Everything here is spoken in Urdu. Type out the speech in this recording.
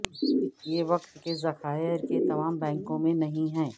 یہ وقت کے ذخائر کے تمام بینکوں میں نہیں ہیں